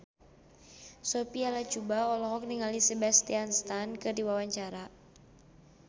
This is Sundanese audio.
Sophia Latjuba olohok ningali Sebastian Stan keur diwawancara